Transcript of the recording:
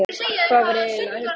Hvað var ég eiginlega að hugsa?